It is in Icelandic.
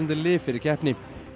lyf fyrir keppni